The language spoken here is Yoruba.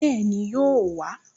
Bẹ́ẹ̀ni, yóò wà á